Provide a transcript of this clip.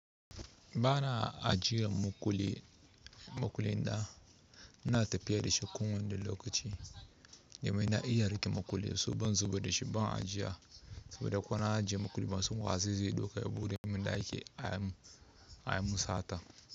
Bana ajiye maƙulli maƙulli na, ina tafiya da shi kowanne lokaci, domin na iya riƙe maƙulli so ban zubar da shi ban ajiya, saboda ko na ajiye maƙulli bansan wa zai zo ya ɗauka ya buɗe min ɗaki a yi mun sata.